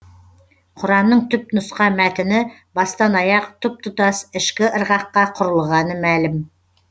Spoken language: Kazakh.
құранның түп нұсқа мәтіні бастан аяқ тұп тұтас ішкі ырғаққа құрылғаны мәлім